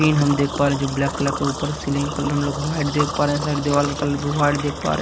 हम देख पा रहे हैं जो ब्लैक कलर का ऊपर सीलिंग का कलर हम लोग व्हाईट देख पा रहे हैं साइड दीवार का कलर भी व्हाईट देख पा रहे।